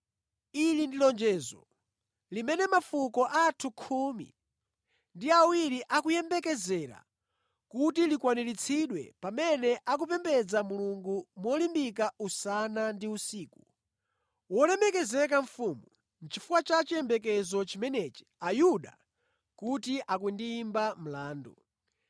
Ili ndi lonjezo limene mafuko athu khumi ndi awiri akuyembekezera kuti likwaniritsidwe pamene akupembedza Mulungu molimbika usana ndi usiku. Wolemekezeka Mfumu, nʼchifukwa cha chiyembekezo chimenechi Ayuda kuti akundiyimba mlandu.